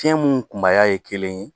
Fiɲɛ mun kunbaya ye kelen ye